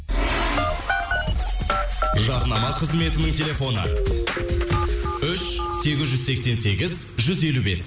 жарнама қызметінің телефоны үш сегіз жүз сексен сегіз жүз елу бес